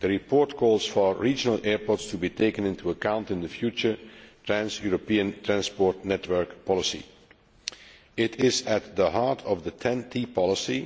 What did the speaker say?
The report calls for regional airports to be taken into account in the future trans European transport network policy.